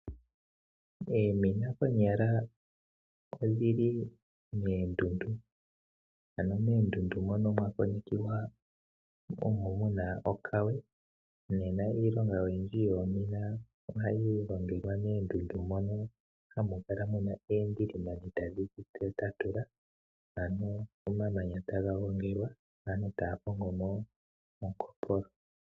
Eemina konyala odhili meendundu, ano meendundu mono mwa konekiwa omo muna okawe nena iilonga oyindji yoomina ohayi longelwa meendundu mono hamu kala muna eendilimani tadhi tatula, ano omamanya taga gongelwa aantu taya kongomo ongopolo.